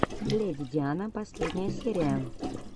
леди диана последняя серия